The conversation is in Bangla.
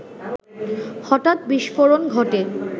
হঠাৎ বিস্ফোরণ ঘটে